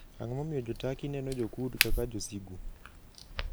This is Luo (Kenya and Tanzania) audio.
Ang'o momiyo Jo - Turkey neno Jo - Kurd kaka josigu?